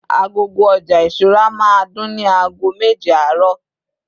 agogo oja ìṣura ma dùn ni ago meje aaro